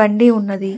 బండి ఉన్నది.